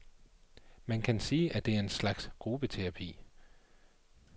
Man kan sige, det er en slags gruppeterapi.